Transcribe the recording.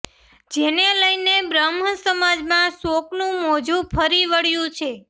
જેને લઇને બ્રહ્મ સમાજમાં શોકનું મોજુ ફરી વળ્યું છે